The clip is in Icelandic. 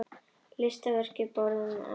Listaverk boðin upp á vefnum